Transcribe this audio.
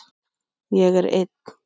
Ég er einn.